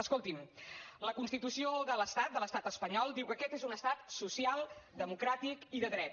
escolti’m la constitució de l’estat de l’estat espanyol diu que aquest és un estat social democràtic i de dret